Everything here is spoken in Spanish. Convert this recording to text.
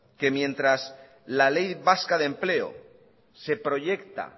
que mientras la ley vasca de empleo se proyecta